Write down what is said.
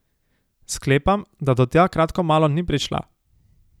Sklepam, da do tja kratko malo ni prišla.